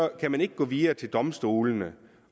kan man ikke gå videre til domstolene